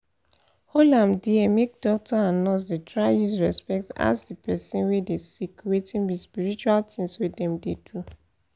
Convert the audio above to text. hol am dia make doctor and nurse dey try use respect ask the person we dey sick wetin be spiritual tins wey dem dey do